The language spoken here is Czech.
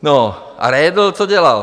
No a Redl, co dělal?